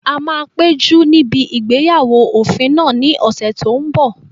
A máa péjú níbi ìgbéyàwó òfin náà ní ọ̀sẹ̀ tó n bọ̀